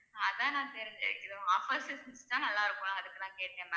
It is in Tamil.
அதான் நான் offers இருந்தா நல்லா இருக்கும் அதுக்கு தான் கேட்டேன் ma'am